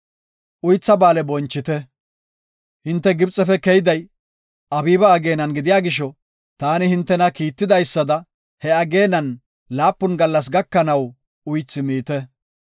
“Uythaa Ba7aale bonchite. Hinte Gibxefe keyday, Abiiba ageenan gidiya gisho, taani hintena kiitidaysada, he ageenan, laapun gallas gakanaw uythi miite.